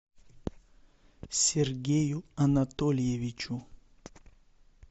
сергею анатольевичу